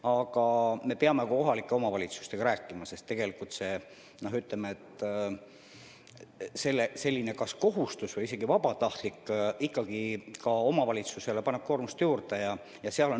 Aga me peame ka kohalike omavalitsustega rääkima, sest selline kohustus või isegi vabatahtlik kontrollis käimine paneb ikkagi omavalitsustele koormust juurde.